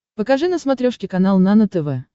покажи на смотрешке канал нано тв